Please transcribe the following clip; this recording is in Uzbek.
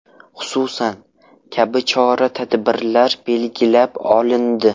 Xususan: kabi chora-tadbirlar belgilab olindi.